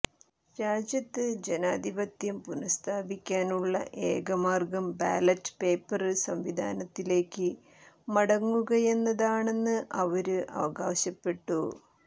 രാജ്യത്ത് ജനാധിപത്യം പുനഃസ്ഥാപിക്കാനുള്ള ഏകമാര്ഗം ബാലറ്റ് പേപ്പര് സംവിധാനത്തിലേക്ക് മടങ്ങുകയെന്നതാണെന്ന് അവര് അവകാശപ്പെട്ടു